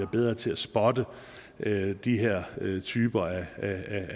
bedre til at spotte de her typer af